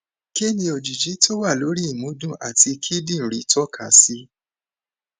kí ni òjìji tó wà lórí ìmúdùn àti kidinrin toka si